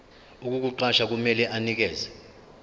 ukukuqasha kumele anikeze